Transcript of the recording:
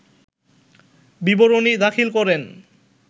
বিবরনী দাখিল করেন